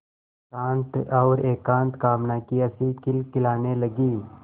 शांत और एकांत कामना की हँसी खिलखिलाने लगी